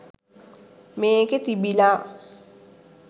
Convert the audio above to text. මේකේ තිබිල